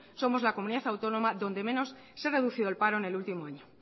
somos la comunidad autónoma donde menos se ha reducido el paro en el último año